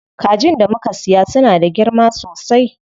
Kajin da muka siya suna da girma sosai.